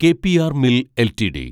K P R mill LTD